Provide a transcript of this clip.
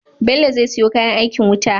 Bello ze siyo kayan aikin wuta